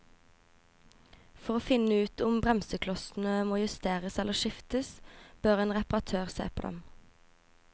For å finne ut om bremseklossene må justeres eller skiftes, bør en reparatør se på dem.